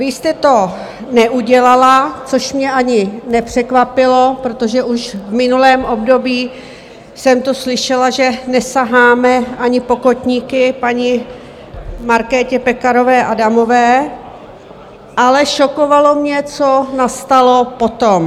Vy jste to neudělala, což mě ani nepřekvapilo, protože už v minulém období jsem tu slyšela, že nesaháme ani po kotníky paní Markétě Pekarové Adamové, ale šokovalo mě, co nastalo potom.